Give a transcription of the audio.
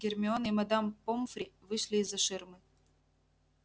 гермиона и мадам помфри вышли из-за ширмы